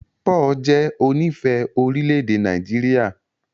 Paul jẹ onífẹ̀ẹ́ orílẹ̀-èdè Nàìjíríà.